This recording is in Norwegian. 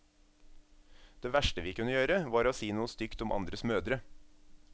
Det verste vi kunne gjøre, var å si noe stygt om andres mødre.